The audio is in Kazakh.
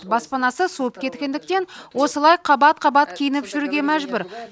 баспанасы суып кеткендіктен осылай қабат қабат киініп жүруге мәжбүр